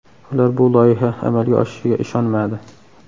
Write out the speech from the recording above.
Ular bu loyiha amalga oshishiga ishonmadi.